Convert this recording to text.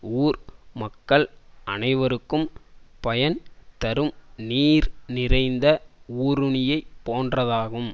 ஊர் மக்கள் அனைவருக்கும் பயன் தரும் நீர் நிறைந்த ஊருணியைப் போன்றதாகும்